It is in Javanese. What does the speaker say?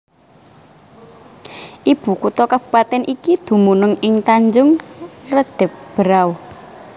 Ibu kutha kabupatèn iki dumunung ing Tanjung Redeb Berau